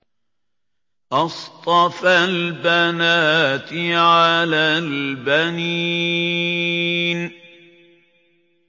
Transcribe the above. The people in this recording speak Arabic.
أَصْطَفَى الْبَنَاتِ عَلَى الْبَنِينَ